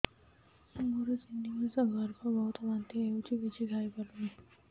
ମୋର ତିନି ମାସ ଗର୍ଭ ବହୁତ ବାନ୍ତି ହେଉଛି କିଛି ଖାଇ ପାରୁନି